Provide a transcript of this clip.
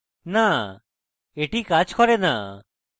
no এটি কাজ করে no